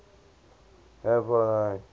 greek polytonic